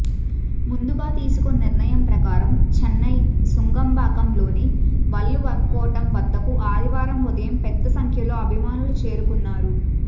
ముందుగా తీసుకున్న నిర్ణయం ప్రకారం చెన్నై నుంగంబాక్కంలోని వల్లువర్కోట్టం వద్దకు ఆదివారం ఉదయం పెద్దసంఖ్యలో అభిమానులు చేరుకున్నారు